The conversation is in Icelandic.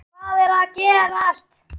HVAÐ ER AÐ GERAST??